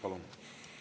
Palun!